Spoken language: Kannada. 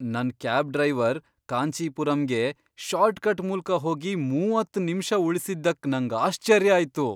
ನನ್ ಕ್ಯಾಬ್ ಡ್ರೈವರ್ ಕಾಂಚೀಪುರಂಗೆ ಶಾರ್ಟ್ ಕಟ್ ಮೂಲ್ಕ ಹೋಗಿ ಮೂವತ್ತ್ ನಿಮಿಷ ಉಳಿಸಿದ್ದಕ್ ನಂಗ್ ಆಶ್ಚರ್ಯ ಆಯ್ತು!